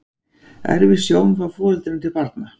Erfist sjón frá foreldrum til barna?